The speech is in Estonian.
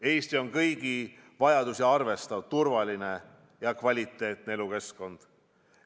Eesti on kõigi vajadusi arvestav, turvaline ja kvaliteetne elukeskkond.